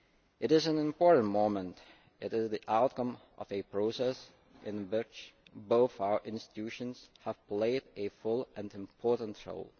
It is an important moment. It is the outcome of a process in which both our institutions have played a full and important role.